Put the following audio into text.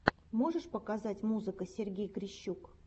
можешь показать музыка сергей грищук